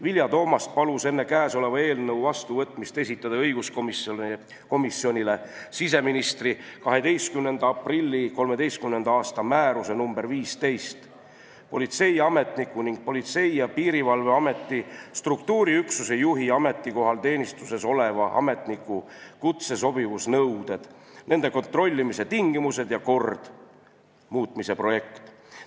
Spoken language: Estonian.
Vilja Toomast palus enne eelnõu vastuvõtmist esitada õiguskomisjonile siseministri 12. aprilli 2013. aasta määruse nr 15 "Politseiametniku ning Politsei- ja Piirivalveameti struktuuriüksuse juhi ametikohal teenistuses oleva ametniku kutsesobivusnõuded, nende kontrollimise tingimused ja kord" muutmise projekti.